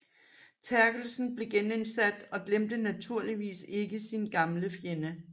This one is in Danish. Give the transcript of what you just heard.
Terkelsen blev genindsat og glemte naturligvis ikke sin gamle fjende